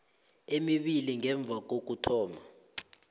emibili ngemva kokuthoma